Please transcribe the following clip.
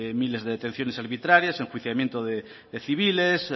miles de detenciones arbitrarias enjuiciamiento de civiles